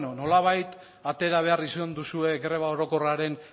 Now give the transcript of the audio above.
nolabait atera behar izan duzue greba orokorraren